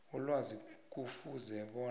ilwazi kufuze bona